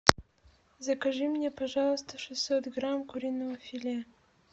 закажи мне пожалуйста шестьсот грамм куриного филе